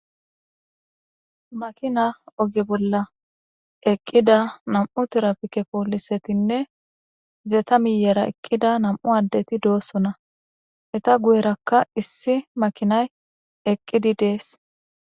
makina oge bolla eqqida nam7u tirapike poolisetinne zeeta miyera eqqida nam7u addeti doossona eta guyerakka issi makinay eqqidi dees